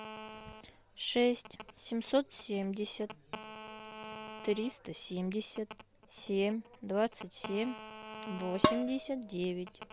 шесть семьсот семьдесят триста семьдесят семь двадцать семь восемьдесят девять